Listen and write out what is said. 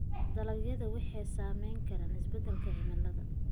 Dalagyada waxaa saameyn kara isbeddelka cimilada.